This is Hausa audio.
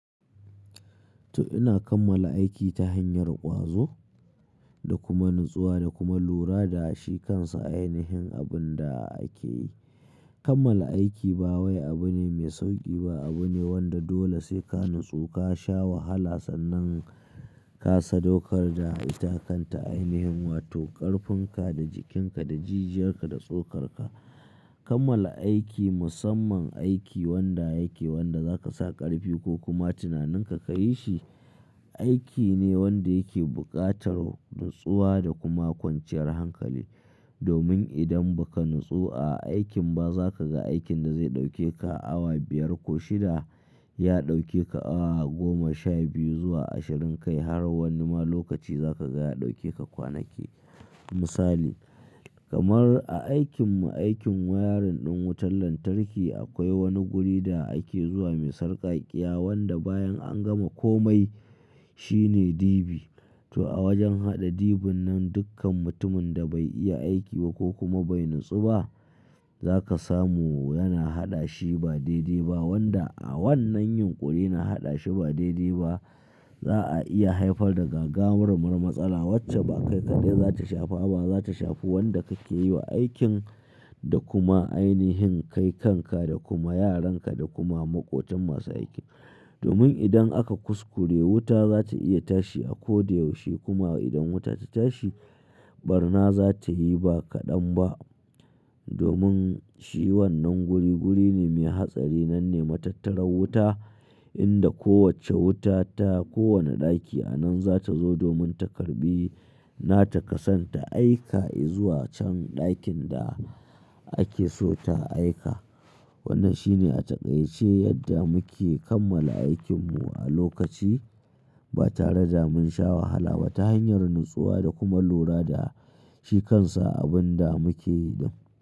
To ina kammala aiki ta hanyar ƙwazo da kuma natsuwa da kuma lura da shi kansa ainihin abin da ake yi. Kammala aiki ba wai abu ne mai sauƙi ba, abu ne wanda dole sai ka natsu, ka sha wahala sannan ka sadaukar da itakanta ainihin wato ƙarfin ka da jikin ka da jijiyar ka da tsokar ka. Kammala aiki, musamman aiki wanda yake wanda zaka sa ƙarfi ko kuma tunanin ka ka yi shi, aiki ne wanda yake buƙatar natsuwa da kuma kwanciyar hankali. Domin idan ba ka natsu a aikin ba za ka ga aikin da zai ɗauke ka awa biyar ko shida ya ɗauke ka awa goma, sha biyu zuwa ashirin kai har wani ma lokaci za ka ga ya ɗauke ka kwanaki. Misali, kamar a aikin mu, aikin wayarin ɗin wutar lantarki akwai wani guri da ake zuwa mai sarƙaƙƙiya wanda bayan an gama komai shine dibi. To a wajen haɗa dibin nan dukkan mutumin da bai iya aiki ba ko kuma bai natsu ba za ka samu yana haɗa shi ba daidai ba. Wanda a wannan yinƙuri na haɗa shi ba daidai ba za a iya haifar da gagarumar matsala wacce ba kai kaɗai za ta shafa ba, za ta shafi wanda ka ke yi wa aikin da kuma ainihin kai kanka da kuma yaran ka da kuma maƙotin masu aiki. Domin idan aka kuskure wuta za ta iya tashi a ko da yaushe kuma idan wuta ta tashi, barna za ta yi ba kaɗan ba. Domin shi wannan guri guri ne mai hatsari nan ne matattara wuta inda ko wacce wuta ta ko wane ɗaki a nan za ta zo domin ta karɓi nata kasanta aika i zuwa can ɗakin da ake so ta aika. Wannan shine a taƙaice yadda muke kammala aikin mu a lokaci ba tare da mun sha wahala ba ta hanyar natsuwa da kuma lura da shi kansa abin da muke yi.